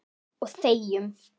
Og þegjum.